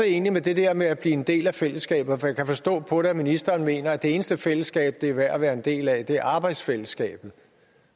egentlig med det der med at en del af fællesskabet for jeg kan forstå på det at ministeren mener at det eneste fællesskab det er værd at være en del af er arbejdsfællesskabet